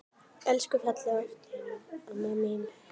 Elsku fallega Birna amma mín.